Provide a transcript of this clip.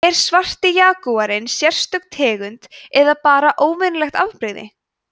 er svarti jagúarinn sérstök tegund eða bara óvenjulegt afbrigði